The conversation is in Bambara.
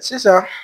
Sisan